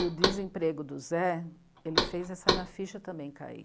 E o desemprego do Zé, ele fez essa minha ficha também cair.